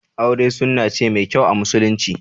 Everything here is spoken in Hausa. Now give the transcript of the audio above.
Aure sunna ce mai kyau a musulunci